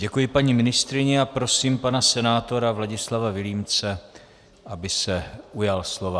Děkuji paní ministryni a prosím pana senátora Vladislava Vilímce, aby se ujal slova.